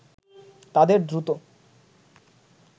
তাদের দ্রুত